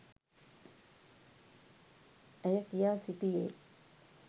ඇය කියා සිටියේ.